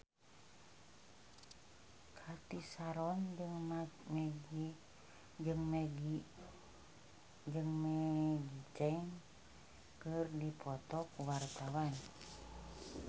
Cathy Sharon jeung Maggie Cheung keur dipoto ku wartawan